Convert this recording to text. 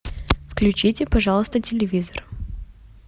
включите пожалуйста телевизор